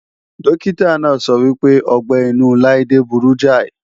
Dókítà náà sọ wípé ọgbẹ́-inú Laide burú jáì